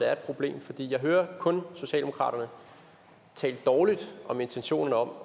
er et problem for jeg hører kun socialdemokratiet tale dårligt om intentionen om